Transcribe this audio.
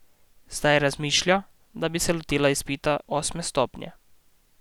Zdaj razmišlja, da bi se lotila izpita osme stopnje.